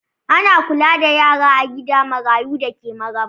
Ana kula da yara a gida marayu da ke Maraba.